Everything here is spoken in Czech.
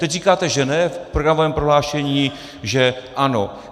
Teď říkáte, že ne, v programovém prohlášení, že ano.